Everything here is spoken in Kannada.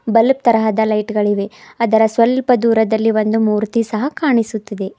ಬಲ್ಬ್ ತರಹದ ಲೈಟ್ ಗಳಿವೆ ಅದರ ಸ್ವಲ್ಪ ದೂರದಲ್ಲಿ ಒಂದು ಮೂರ್ತಿ ಸಹ ಕಾಣಿಸುತ್ತಿದೆ.